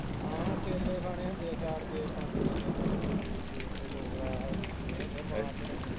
ਫਿਰ ਕੇਲੇ ਖਾਣੇ ਹੁੰਦੇ ਚਾਰ ਕਿ ਪੰਜ ਕੇਲੇ ਖਾਣੇ ਹੁੰਦੇ juice juice ਦੇ ਦੋ ਗਲਾਸ ਪੀਣੇ ਹੁੰਦੇ